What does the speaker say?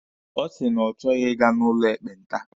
Ọ sị na ọ chọghi Ị ga n'ụlọ ekpenta.